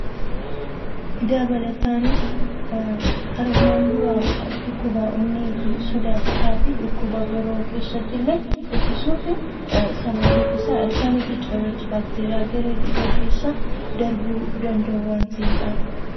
Dabalataan armaan dura dhukkuba onnee sodaachisaa fi dhukkuboota biroo keessatti ittisuufi. Sababiin isaas cirrachii fi ilkaan baakteeriyaa gara dhiiga keessa darbuu danda'u waan ta'eefidha.